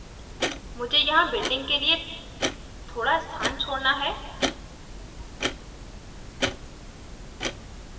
मुझे यहाँ building के लिए थोड़ा स्थान छोड़ना है